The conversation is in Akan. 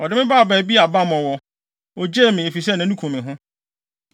Ɔde me baa baabi a bammɔ wɔ; ogyee me, efisɛ nʼani kum me ho.